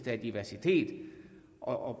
er diversitet og